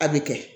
A bɛ kɛ